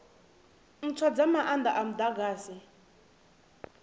ntswa dza maanda a mudagasi